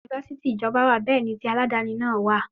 yunifásítì ìjọba wà, bẹ́ẹ̀ ni tí alàdàni náà wà.